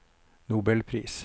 nobelpris